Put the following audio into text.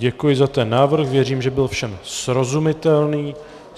Děkuji za ten návrh, věřím, že byl všem srozumitelný.